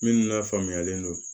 Minnu lafaamuyalen don